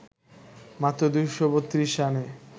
মাত্র ২৩২ রানে